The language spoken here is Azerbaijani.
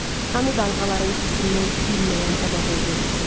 Hanı dalğaların kəsilməyən əbədi uğultusu?